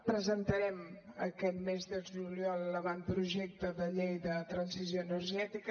presentarem aquest mes de juliol l’avantprojecte de llei de transició energètica